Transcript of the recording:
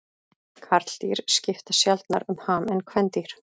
Karldýr skipta sjaldnar um ham en kvendýr.